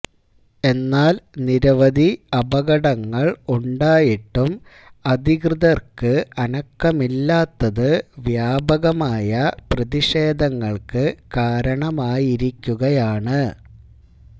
എന്നാല് നിരവധി അപകടങ്ങള് ഉണ്ടായിട്ടും അധികൃതര്ക്ക് അനക്കമില്ലാത്തത് വ്യാപകമായ പ്രതിഷേധങ്ങള്ക്ക് കാരണമായിരിക്കുകയാണ്